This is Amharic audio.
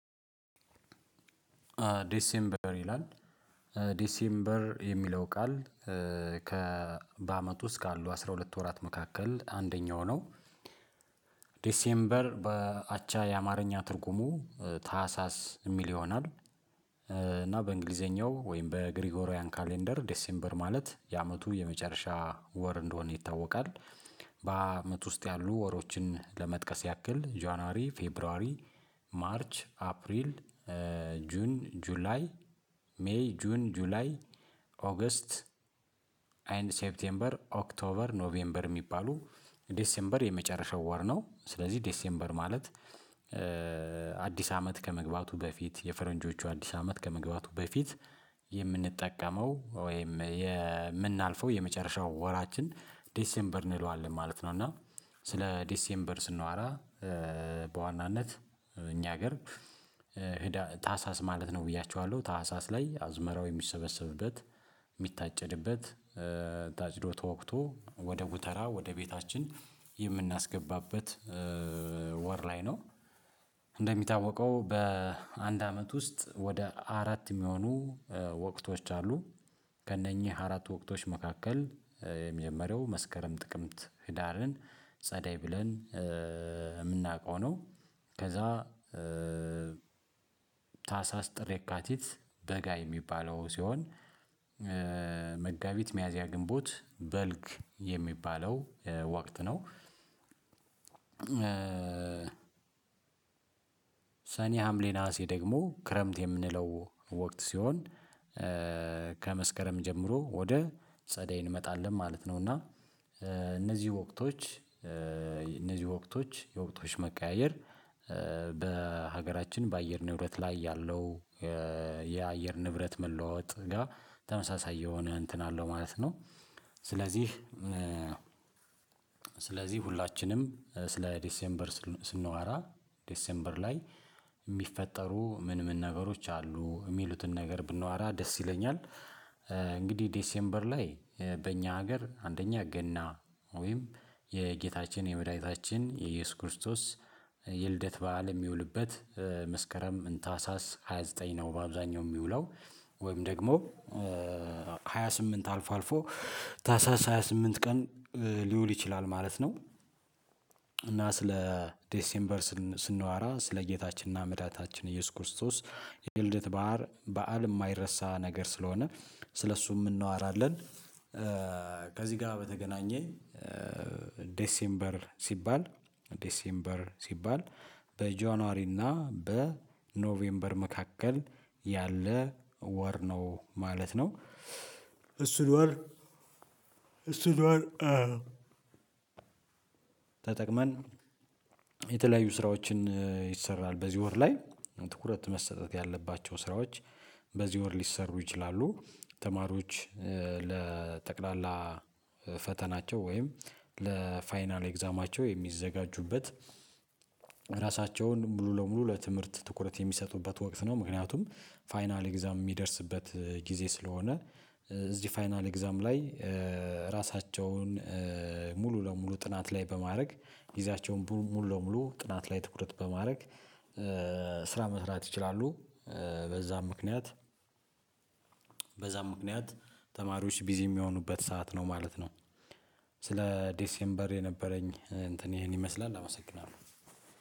ዲሴምበር ይላል ዲሴምበር የሚለው ቃል ከ በአመቱ ውስጥ ካሉ አስራ ሁለት ወራት መካከል አንደኛው ነው ዲሴምበር በአቻ የአማርኛ ትርጉሙ ታህሳስ የሚል ይሆናል እና በእንግሊዘኛው ወይም በግሪጎሪያን ካሌንደር ዴሴምበር ማለት የአመቱ የመጨረሻ ወር እንደሆነ ይታወቃል። በአመት ውስጥ ያሉ ወሮችን ለመጥቀስ ያክል ጆናሪ ፌብሩዋሪ ማርች አፕሪል ጁን ጁላይ ሜይ ጁን ጁላይ ኦገስት ኤንድ ሴፕቴምበር ኦክቶበር ኖቬምበር የሚባሉ ዴሴምበር የመጨረሻው ወር ነው ስለዚህ ዴሴምበር ማለት አዲስ አመት ከመግባቱ በፊት የፈረንጆቹ አዲስ አመት ከመግባቱ በፊት የምንጠቀመው ወይም የምናልፈው የመጨረሻው ወራችን ዲሴምበር እንለዋለን ማለት ነው እና ስለ ዲሴምበር ስናዋራ በዋናነት እኛ ሀገር ታሳስ ማለት ነው ብያችኋለሁ ታህሳስ ላይ አዝመራው የሚሰበሰብበት የሚታጨድበት ታጭዶ ተወቅቶ ወደ ጉተራ ወደ ቤታችን የምናስገባበት ወር ላይ ነው እንደሚታወቀው በአንድ አመት ውስጥ ወደ አራት የሚሆኑ ወቅቶች አሉ ከእነኚህ አራት ወቅቶች መካከል የመጀመሪያው መስከረም ጥቅምት ህዳርን ጸደይ ብለን የምናውቀው ነው። ከዛ ታህሳስ ጥር ካቲት በጋ የሚባለው ሲሆን መጋቢት ሚያዚያ ግንቦት በልግ የሚባለው ወቅት ነው። ሰኔ ሀምሌ ነሀሴ ደግሞ ክረምት የምንለው ወቅት ሲሆን ከመስከረም ጀምሮ ወደ ጸደይ እንመጣለን ማለት ነው እና እነዚህ ወቅቶች እነዚህ ወቅቶች የወቅቶች መቀያየር በሀገራችን በአየር ንብረት ላይ ያለው የአየር ንብረት መለዋወጥ ጋር ተመሳሳይ የሆነ እንትን አለው ማለት ነው ስለዚህ ስለዚህ ሁላችንም ስለ ዴሴምበር ስናወራ ዴሴምበር ላይ የሚፈጠሩ ምን ምን ነገሮች አሉ የሚሉትን ነገር ብንዋራ ደስ ይለኛል እንግዲህ ዴሴምበር ላይ በእኛ ሀገር አንደኛ ገና ወይም የጌታችን የመድኃኒታችን የኢየሱስ ክርስቶስ የልደት በዓል የሚውልበት መስከረም ታህሳስ ሃያ ዘጠኝ ነው በአብዛኛው የሚውለው ወይም ደግሞ ሃያ ስምንት አልፎ አልፎ ታሳስ ሃያ ስምንት ቀን ሊውል ይችላል ማለት ነው እና ስለ ዴሴምበር ስንዋራ ስለ ጌታችንና መዳታችን ኢየሱስ ክርስቶስ የልደት በሀር በዓል የማይረሳ ነገር ስለሆነ ስለእሱ የምንዋራለን ከዚህ ጋር በተገናኘ ዴሴምበር ሲባል ዴሴምበር ሲባል በጆንዋሪና በኖቬምበር መካከል ያለ ወር ነው ማለት ነው እሱ ወር እሱን ወር ተጠቅመን የተለያዩ ስራዎችን ይሰራል በዚህ ወር ላይ ትኩረት መሰጠት ያለባቸው ስራዎች በዚህ ወር ሊሰሩ ይችላሉ ተማሪዎች ለጠቅላላ ፈተናቸው ወይም ለፋይናል ኤግዛማቸው የሚዘጋጁበት ራሳቸውን ሙሉ ለሙሉ ለትምህርት ትኩረት የሚሰጡበት ወቅት ነው። ምክንያቱም ፋይናል ኤግዛም የሚደርስበት ጊዜ ስለሆነ እዚህ ፋይናል ኤግዛም ላይ ራሳቸውን ሙሉ ለሙሉ ጥናት ላይ በማድረግ ጊዜያቸውን ሙሉ ለሙሉ ጥናት ላይ ትኩረት በማድረግ ስራ መስራት ይችላሉ በዛም ምክንያት በዛም ምክንያት ተማሪዎች ቢዚ የሚሆኑበት ሰዓት ነው ማለት ነው ስለ ዴሴምበር የነበረኝ እንትን ይሄን ይመስላል አመሰግናለሁ።